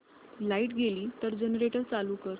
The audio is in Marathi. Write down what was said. लाइट गेली तर जनरेटर चालू कर